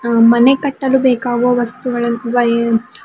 ಅ ಮನೆ ಕಟ್ಟಲು ಬೇಕಾಗುವ ವಸ್ತುಗಳನ್ನು ವೈಯರ್ --